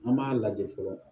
An b'a lajɛ fɔlɔ